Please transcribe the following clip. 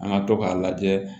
An ka to k'a lajɛ